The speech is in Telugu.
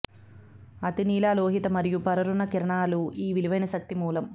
అతినీలలోహిత మరియు పరారుణ కిరణాలు ఈ విలువైన శక్తి మూలం